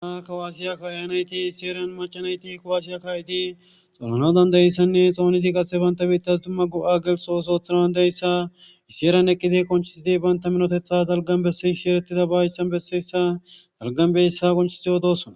Ha kawaasiya kaa7iyaa naythi issi heeran macca naythi kawaasiya kaa7idi xonanawu dayssanne xoonidi qase bantha biiththas dumma go7a gelisso osoo oothanawan dayssa issi heeran eqqithi qonccisidi banththa minotheththa dalggan bessishe ereththidaba hayssan bessessa dalggan beyssa qonccissi odoos.